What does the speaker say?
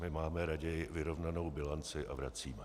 My máme raději vyrovnanou bilanci a vracíme.